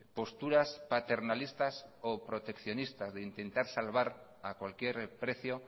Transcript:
posturas paternalistas o proteccionistas de intentar salvar a cualquier precio